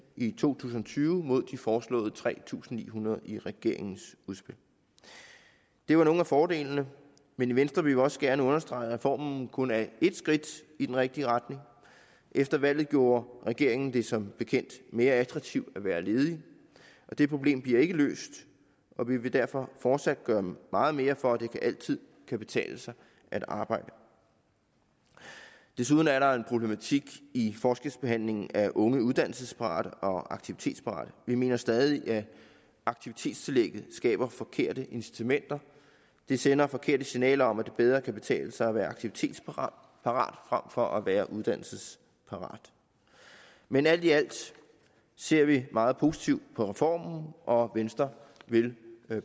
i to tusind og tyve mod de foreslåede tre tusind ni hundrede i regeringens udspil det var nogle af fordelene men i venstre vil vi også gerne understrege at reformen kun er ét skridt i den rigtige retning efter valget gjorde regeringen det som bekendt mere attraktivt at være ledig og det problem bliver ikke løst og vi vil derfor fortsat gøre meget mere for at det altid kan betale sig at arbejde desuden er der en problematik i forskelsbehandlingen af unge uddannelsesparate og aktivitetsparate vi mener stadig at aktivitetstillægget skaber forkerte incitamenter det sender forkerte signaler om at det bedre kan betale sig at være aktivitetsparat frem for at være uddannelsesparat men alt i alt ser vi meget positivt på reformen og venstre vil